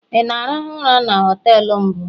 ị na-arahụ ụra na họtelu mbụ?